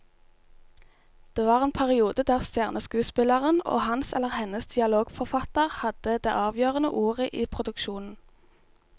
Det var en periode der stjerneskuespilleren og hans eller hennes dialogforfatter hadde det avgjørende ordet i produksjonen.